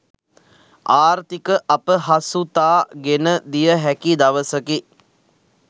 ආර්ථික අපහසුතා ගෙනදිය හැකි දවසකි.